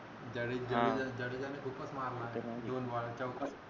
त्यादिवशी जडेजा जडेजाने खूपच मारला दोन बार चौका